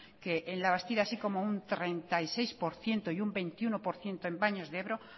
que en labastida así como un treinta y seis por ciento y un veintiuno por ciento en baños de ebro